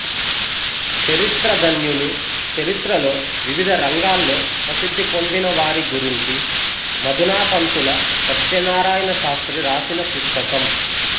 చరిత్ర ధన్యులు చరిత్రలో వివిధ రంగాల్లో ప్రసిద్ధి పొందిన వారి గురించి మధునాపంతుల సత్యనారాయణ శాస్త్రి రాసిన పుస్తకం